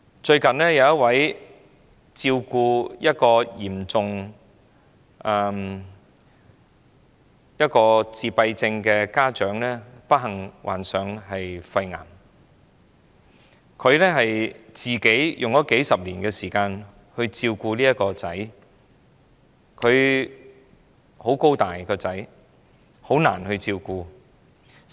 最近有一位照顧嚴重自閉症兒子的家長不幸患上肺癌，他花了數十年光陰照顧這兒子，他長得很高大，很難照顧。